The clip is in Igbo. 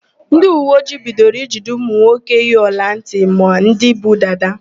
Ndịuweojii bidoro ijide ụmụnwoke yi ọlantị ma ndị bu dada.